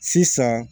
Sisan